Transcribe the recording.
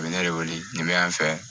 A bɛ ne de wele nin bɛ yan fɛ